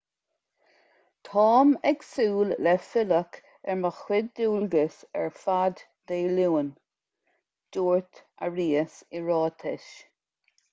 táim ag súil le filleadh ar mo chuid dualgas ar fad dé luain dúirt arias i ráiteas